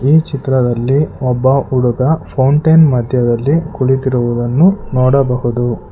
ಈ ಚಿತ್ರದಲ್ಲಿ ಒಬ್ಬ ಹುಡುಗ ಫೌಂಟೈನ್ ಮಧ್ಯದಲ್ಲಿ ಕುಳಿತಿರುವುದನ್ನು ನೋಡಬಹುದು.